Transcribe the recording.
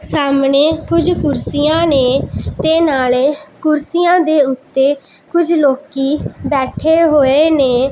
ਸਾਹਮਣੇ ਕੁਝ ਕੁਰਸੀਆਂ ਨੇਂ ਤੇ ਨਾਲੇ ਕੁਰਸੀਆਂ ਦੇ ਓੱਤੇ ਕੁਝ ਲੋਕੀ ਬੈਠੇ ਹੋਏ ਨੇਂ।